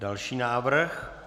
Další návrh.